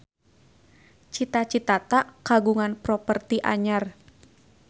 Cita Citata kagungan properti anyar